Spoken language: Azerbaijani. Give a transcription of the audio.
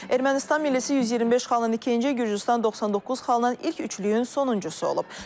Ermənistan millisi 125 xalla ikinci, Gürcüstan 99 xalla ilk üçlüyün sonuncusu olub.